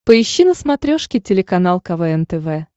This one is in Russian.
поищи на смотрешке телеканал квн тв